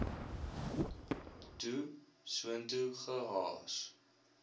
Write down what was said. toe soontoe gehaas